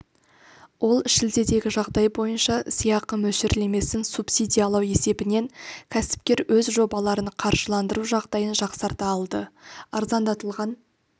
ол шілдедегі жағдай бойынша сыйақы мөлшерлемесін субсидиялау есебінен кәсіпкер өз жобаларын қаржыландыру жағдайын жақсарта алды арзандатылған